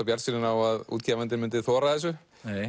bjartsýnir á að útgefandinn myndi þora þessu